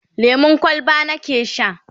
lemun kwalba nake Sha